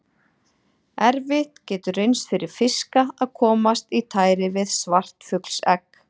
Erfitt getur reynst fyrir fiska að komast í tæri við svartfuglsegg.